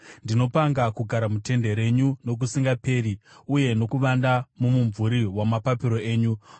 Ndinopanga kugara mutende renyu nokusingaperi, uye nokuvanda mumumvuri wamapapiro enyu. Sera